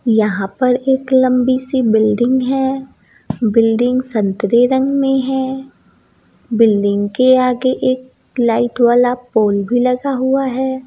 यहाँ पर एक लम्बी सी बिल्डिंग है बिल्डिंग संतरे रंग में है बिल्डिंग के आगे एक लाइट वाला पोल भी लगा हुआ है।